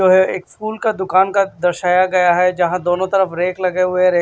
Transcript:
जो है एक फूल का दुकान का दर्शाया गया है जहां दोनों तरफ रेक लगे हुए हैं रे--